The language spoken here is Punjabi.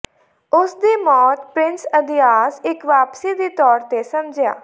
ਉਸ ਦੀ ਮੌਤ ਪ੍ਰਿੰਸ ਅੰਦ੍ਰਿਯਾਸ ਇੱਕ ਵਾਪਸੀ ਦੇ ਤੌਰ ਤੇ ਸਮਝਿਆ